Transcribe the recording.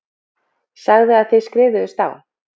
Sagði að þið skrifuðust á.